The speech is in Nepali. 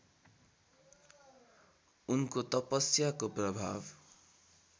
उनको तपस्याको प्रभाव